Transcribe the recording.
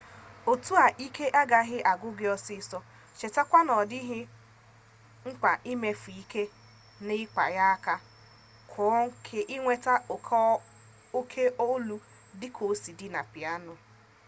otu a ike agaghị agwụ gị ọsịsọ chetakwa na ọ dịghị mkpa imefu ike n'ịkpa ya aka ka inweta oke olu dịka osi dị na piano